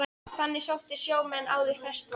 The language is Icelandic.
Þangað sóttu sjómenn áður ferskt vatn.